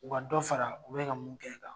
U ka dɔ fara u be ka mun kɛ kan